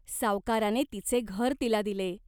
सावकाराने तिचे घर तिला दिले.